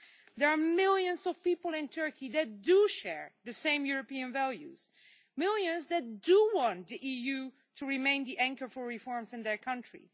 There are millions of people in Turkey who do share the same European values and millions who do want the EU to remain the anchor for reforms in their country.